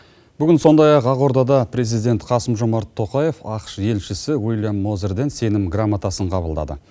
бүгін сондай ақ ақордада президент қасым жомарт тоқаев ақш елшісі уильям мозерден сенім грамотасын қабылдады